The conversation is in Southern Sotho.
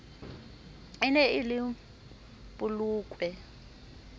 e ne e le polokwe